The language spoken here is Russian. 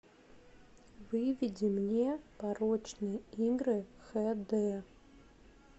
выведи мне порочные игры хэ дэ